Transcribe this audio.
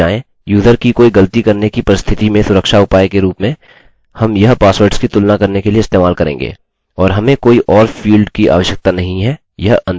जब वह एक बार जमा कर दिए जाएँ यूज़र की कोई गलती करने की परिस्थति में सुरक्षा उपाय के रूप में हम यह पासवर्ड्स की तुलना करने के लिए इस्तेमाल करेंगे